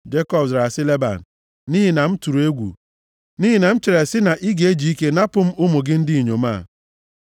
Jekọb zara sị Leban, “Nʼihi na m tụrụ egwu, nʼihi na m chere sị na ị ga-eji ike napụ m ụmụ gị ndị inyom a.